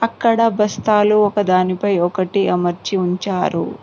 అక్కడ బస్తాలు ఒకదానిపై ఒకటి అమర్చి ఉంచారు.